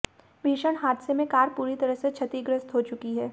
भीषण हादसे में कार पूरी तरह से क्षतिग्रस्त हो चुकी है